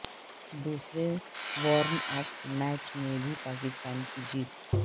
دوسرے warm up match میں بھی پاکستان کی جیت